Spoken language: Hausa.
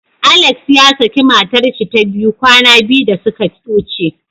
Alex yasaki matarshi ta biyu kwana biyu da suka wuce.